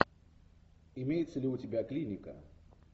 имеется ли у тебя клиника